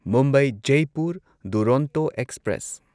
Mumbai Jaipur Duronto express